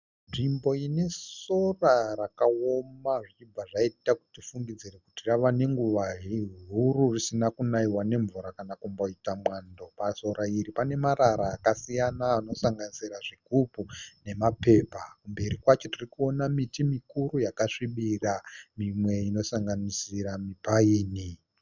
Nzvimbo inesora rakaoma zvichibva zvaita kuti tifungidzire kuti rava nenguva huru risina kunaiwa nemvura kana kumboita mwando. Pasora iri panemarara akasiyana anosanganisira zvigubhu nemapepa. Mberi kwacho tirikuona miti mikuru yakasvibira, mimwe inosanganisira mipaini.